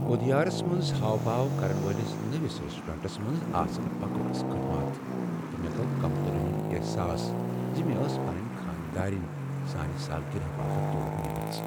ادیارس منٛز ہاوٕ باو كرن وٲلِس نٔوس ریسٹورینٛٹس منٛز آسہٕ بکواس خدمات تہٕ مےٚ گو٘ كمتری ہٗند احساس ز مےٚ ٲس پنٕنۍ خانٛدارٕنۍ سانِہِ سالگرہ باپت تور نیٖمٕژ۔